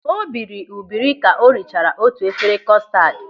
O biri ubiri ka o richara otu efere kostad.